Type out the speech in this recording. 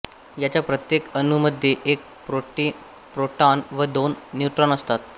याच्या प्रत्येक अणू मध्ये एक प्रोटॉन व दोन न्यूट्रॉन असतात